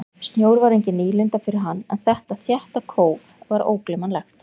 Snjór var engin nýlunda fyrir hann en þetta þétta kóf var ógleymanlegt.